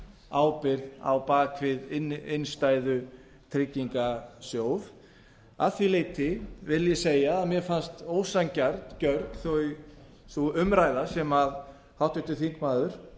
ríkisábyrgð á bak við innstæðutryggingarsjóð að því leyti vil ég segja að mér fannst ósanngjörn sú umræða sem háttvirtur þingmaður